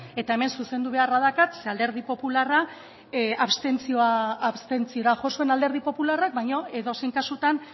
eta hemen zuzendu beharra daukat zeren alderdi popularra abstentziora jo zuen alderdi popularrak baino edozein kasutan